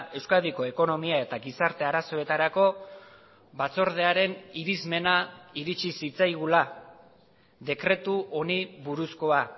euskadiko ekonomia eta gizarte arazoetarako batzordearen irizmena iritsi zitzaigula dekretu honi buruzkoa